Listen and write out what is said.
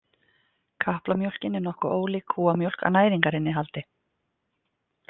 Kaplamjólkin er nokkuð ólík kúamjólk að næringarinnihaldi.